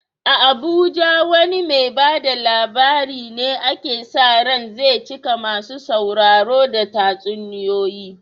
A Abuja wane mai ba da labari ne ake sa ran zai cika masu sauraro da tatsuniyoyi?